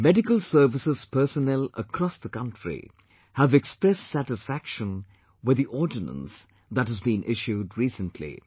Medical services personnel across the country have expressed satisfaction with the ordinance that has been issued recently